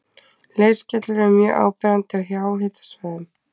leirskellur eru mjög áberandi á háhitasvæðum